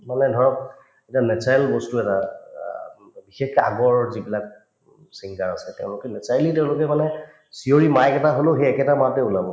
মানে ধৰক এতিয়া natural বস্তু এটা অ বিশেষকে আগৰ যিবিলাক singer আছে তেওঁলোকে naturally তেওঁলোকে মানে চিঞৰি mic এটা হলেও সেই একেটা মাতে ওলাব